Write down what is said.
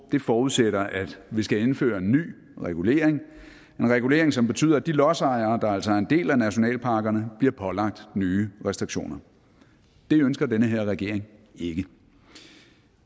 forudsætter at vi skal indføre en ny regulering en regulering som betyder at de lodsejere der altså ejer en del af nationalparkerne bliver pålagt nye restriktioner det ønsker den her regering ikke